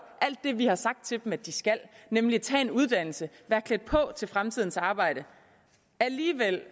alt det vi har sagt til dem de skal nemlig taget en uddannelse været klædt på til fremtidens arbejde alligevel